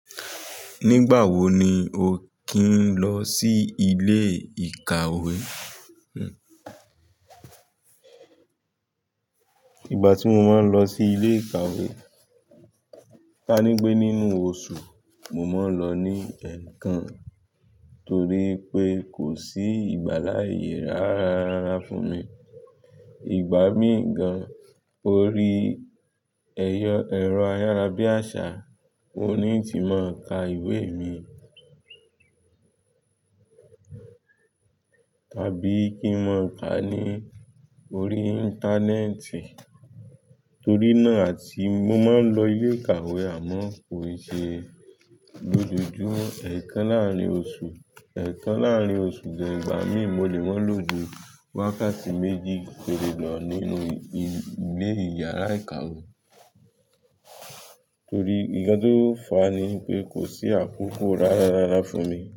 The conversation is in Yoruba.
Nígbà wo ni o kí ń lọ sí ilé ìkàwé? Nígbà tí mo máa ń lọ sí ilé ìkàwé, ta ní pé nínú oṣù, mo máa ń lọ ní ẹ̀ẹ̀kan torí pé kò sí ìgbà láayè e ráá-ra-ra fún mi. Ìgbà mii gan, lórí ẹyọ-- ẹ̀rọ ayárabíàṣá oun ni n ti máa ń ka ìwé mi tàbí kí n máa ka ní orí Íńtánẹ́ẹ̀tì torí náà àti mo máa ń lọ ilé ìkàwé àmọ́ kò ì ṣe lójoojúmọ́. Ẹ̀ẹ̀kan láàrín oṣù, ẹ̀ẹ̀kan láàrín oṣù, then ìgbà mí mo lè máa lò ju wákàtí méjì pere lò nínú ilé, ilé yàrá ìkàwé torí nkan tó fà á ni pé kò sí àkókò ráá-ra-ra fún mi.